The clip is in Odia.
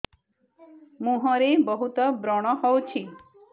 ମୁଁହରେ ବହୁତ ବ୍ରଣ ହଉଛି